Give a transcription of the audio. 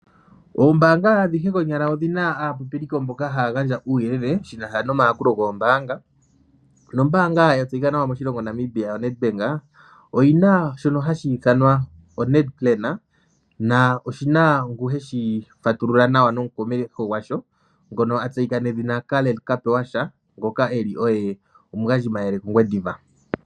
Oombanga adhihe konyala odhina aapopiliko mboka haya gandja uuyelele shina sha nomayakulo goombanga. No mbaanga ya tseyika nawa moshilongo Namibia oNedbank oyi na shono hashi ithanwa oNedPlan, na oshi na ngu he shi fatulula nawa ano omukomeli gwasho ngono a tseyika nedhina Karl Kapewasha, ngoke eli oye omugandjimayele mOngwediva.